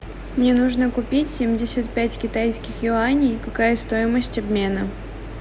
мне нужно купить семьдесят пять китайских юаней какая стоимость обмена